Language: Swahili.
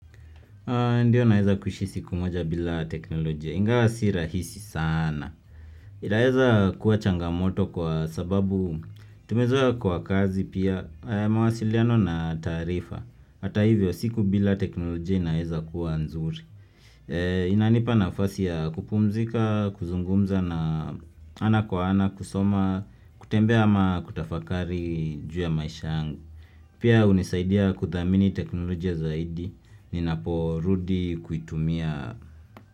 Ndiyo naweza kuishi siku moja bila teknolojia, ingawa si rahisi sana. Inaweza kuwa changamoto kwa sababu tumezoa kwa kazi pia, mawasiliano na taarifa. Hata hivyo siku bila teknolojia inaweza kuwa nzuri. Inanipa nafasi ya kupumzika, kuzungumza na ana kwa ana kusoma, kutembea ama kutafakari juu ya maisha yangu. Pia hunisaidia kuthamini teknolojia zaidi ninapo rudi kuitumia.